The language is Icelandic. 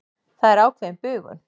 Það er ákveðin bugun.